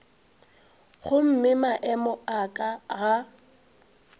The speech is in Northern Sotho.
gomme maemo a ka ga